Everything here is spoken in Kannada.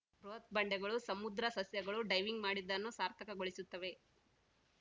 ಬೃಹತ್‌ ಬಂಡೆಗಳು ಸಮುದ್ರ ಸಸ್ಯಗಳು ಡೈವಿಂಗ್‌ ಮಾಡಿದ್ದನ್ನು ಸಾರ್ಥಕಗೊಳಿಸುತ್ತವೆ